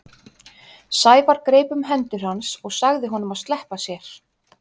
Sævar greip um hendur hans og sagði honum að sleppa sér.